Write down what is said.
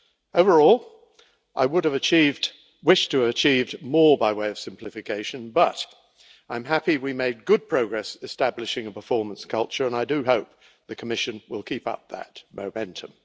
Overall, I would have wished to have achieved more by way of simplification, but I am happy that we made good progress establishing a performance culture, and I hope the Commission will keep up that momentum.